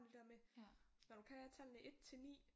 Det der med når du kan tallene 1 til 9